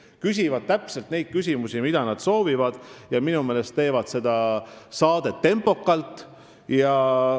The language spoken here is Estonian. Nemad küsivad täpselt neid küsimusi, mida nad soovivad küsida, ja minu meelest teevad nad seda saadet tempokalt.